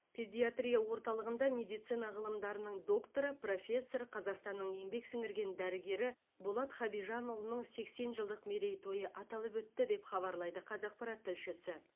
педиатрия орталығында медицина ғылымдарының докторы профессор қазақстанның еңбек сіңірген дәрігері болат хабижанұлының сексен жылдық мерейтойы аталып өтті деп хабарлайды қазақпарат тілшісі